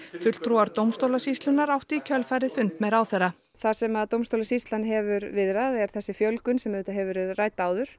fulltrúar dómstólasýslunnar áttu í kjölfarið fund með ráðherra það sem dómstólasýslan hefir viðrað er þessi fjölgun sem auðvitað hefur verið rædd áður